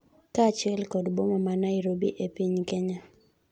kaachiel kod boma ma Nairobi e piny Kenya